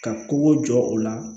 Ka kogo jɔ o la